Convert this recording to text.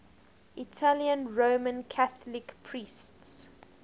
italian roman catholic priests